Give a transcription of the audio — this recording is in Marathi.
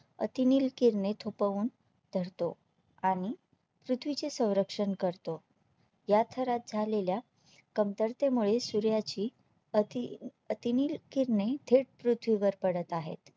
अतिनील किरणे थोपवून धरतो आणि पृथ्वीचे संरक्षण करतो या थरात झालेल्या कमतरते मुळे सूर्याची अति अतिनील किरणे थेट पृथ्वीवर पडत आहेत